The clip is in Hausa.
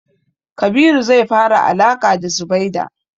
Kabiru zai fara alaƙa da Zubaida.